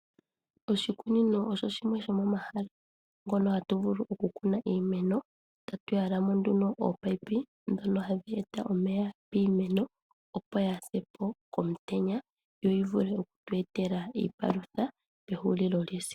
Oshikunino osho shimwe sho momahala ngono hatu vulu oku kuna iimeno tatu tulamo nduno oopayipi dhono dheeta omeya piimeno opo yaasepo komutenya yo yi vule okutu etela iipalutha kehulilo lyesiku.